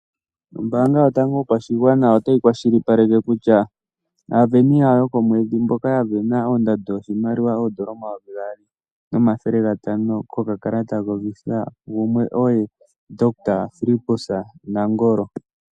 Ombaanga yotango yopashigwana otayi kwashilipaleke kutya aasindani yawo yokomwedhi mboka ya sindana ondando yoshimaliwa oondola omayovi gaali nomathele gatano kokakalata koVisa gumwe oye Ndohotola Fillipus Nangolo.